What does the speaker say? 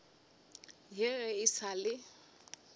ya ge e sa le